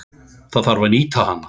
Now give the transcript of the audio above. Það þarf að nýta hana.